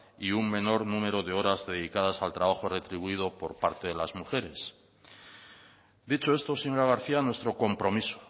y un menor número de horas dedicadas al trabajo retribuido por parte de las mujeres dicho esto señora garcía nuestro compromiso